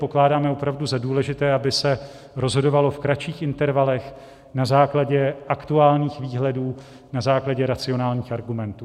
Pokládáme opravdu za důležité, aby se rozhodovalo v kratších intervalech, na základě aktuálních výhledů, na základě racionálních argumentů.